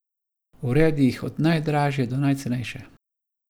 Uredi jih od najdražje do najcenejše.